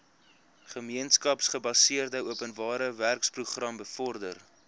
gemeenskapsgebaseerde openbarewerkeprogram bevorder